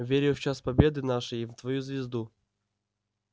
верю в час победы нашей и в твою звезду